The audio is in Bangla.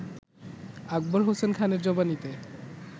আকবর হোসেন খানের জবানিতে